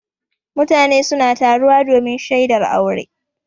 Mutane suna taruwa domin shaidar aure.